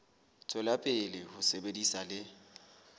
tswela pele ho sebetsa le